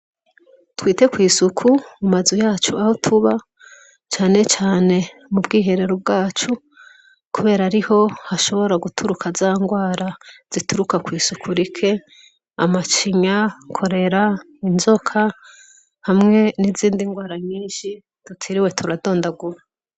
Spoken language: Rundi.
Twite kw'isuku mu mazu yacu aho tuba, cane cane mu bwiherero bwacu kubera ariho hashobora guturuka zandwara zituruka kw'isuku rike amacinya, korera, inzoka hamwe n'izindi ndwara nyinshi tutiriwe turadondagura.